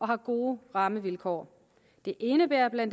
har gode rammevilkår det indebærer bla